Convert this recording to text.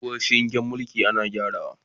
Tsohuwar shingen mulki ana gyarawa